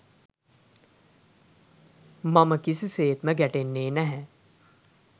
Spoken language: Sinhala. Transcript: මම කිසි සේත්ම ගැටෙන්නේ නැහැ.